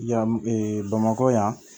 Yan bamakɔ yan